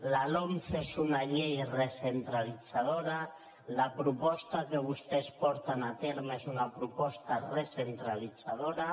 la lomce és una llei recentralitzadora la proposta que vostès porten a terme és una proposta recentralitzadora